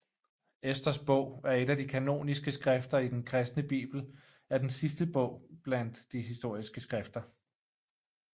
Esters bog er et af de kanoniske skrifter i den kristne Bibel er den sidste bog blandt de historiske skrifter